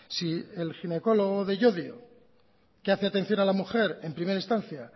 si el ginecólogo de llodio que hace atención a la mujer en primera instancia